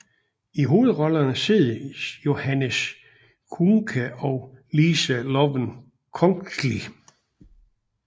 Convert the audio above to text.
I hovedrollerne ses Johannes Kuhnke og Lisa Loven Kongsli